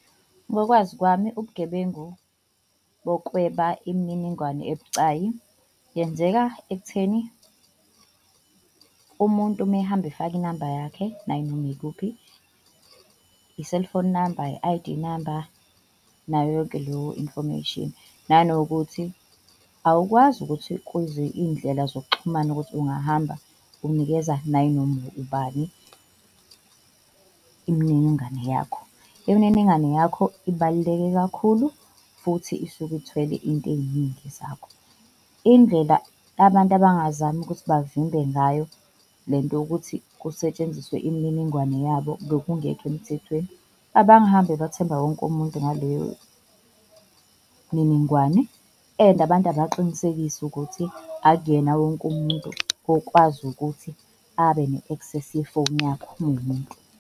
Ngokwazi kwami, ubugebengu bokweba imininingwane ebucayi yenzeka ekutheni umuntu mehamba efaka inamba yakhe nayinoma yikuphi, i-cellphone number, i-I_D number nayo yonke leyo information. Nanokuthi awukwazi ukuthi kwizi iy'ndlela zokuxhumana ukuthi ungahamba unikeza nayinoma ubani imininingane yakho. Imininingane yakho ibaluleke kakhulu futhi isuke ithwele into eyiningi zakho. Indlela abantu abangazama ukuthi bavimbe ngayo le nto yokuthi kusetshenziswe imininingwane yabo ngokungekho emthethweni, abangahambi bethemba wonke umuntu ngaleyo mininingwane, and abantu abaqinisekise ukuthi akuyena wonke umuntu okwazi ukuthi abe ne-access yefoni yakho uma uwumuntu.